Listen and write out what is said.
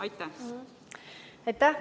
Aitäh!